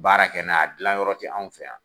Baara kɛ n'a dilanyɔrɔ tɛ anw fɛ yan